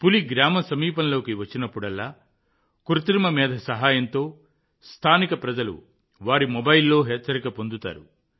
పులి గ్రామ సమీపంలోకి వచ్చినప్పుడల్లా కృత్రిమ మేధ సహాయంతో స్థానిక ప్రజలు వారి మొబైల్లో హెచ్చరిక పొందుతారు